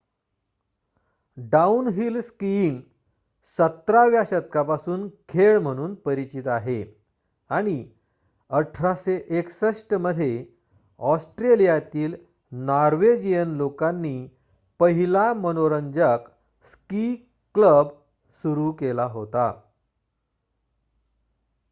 downhill skiing १७ व्या शतकापासून खेळ म्हणून परिचित आहे आणि १८६१ मध्ये ऑस्ट्रेलियातील नॉर्वेजियन लोकांनी पहिला मनोरंजक स्की क्लब सुरू केला होता